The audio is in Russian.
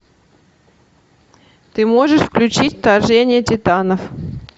ты можешь включить вторжение титанов